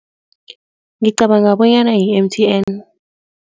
Ngicabanga bonyana yi-M_T_N.